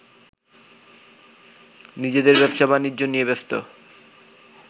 নিজেদের ব্যবসা-বাণিজ্য নিয়ে ব্যস্ত